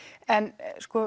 en